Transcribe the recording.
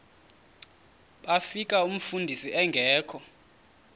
bafika umfundisi engekho